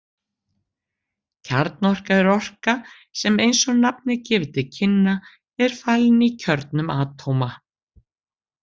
Kjarnorka er orka sem eins og nafnið gefur til kynna er falin í kjörnum atóma.